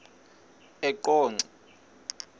eqonco